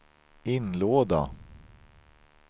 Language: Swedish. inlåda